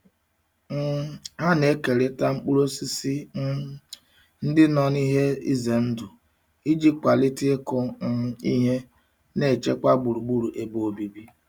um Ha na-ekerịta mkpụrụ nke osisi um ndị nọ n'ihe ize ndụ iji kwalite ịkụ um ihe na ichekwa gburugburu ebe obibi.